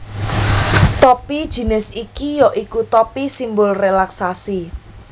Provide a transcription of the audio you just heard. Topi jinis iki ya iku topi simbol rélaksasi